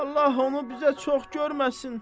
Allah onu bizə çox görməsin.